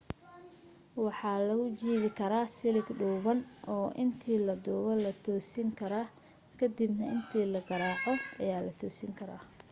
waxaa lagu jiidi karaa silig dhuuban oo intii la duubo la toosin kara ka dib na inta la garaaco ayaa la toosin karaa